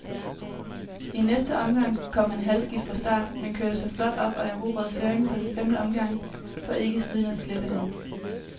I næste omgang kom han halvskidt fra start, men kørte sig flot op og erobrede føringen på femte omgang, for ikke siden at slippe den.